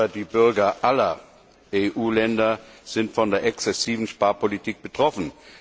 Aber die Bürger aller EU Länder sind von der exzessiven Sparpolitik betroffen.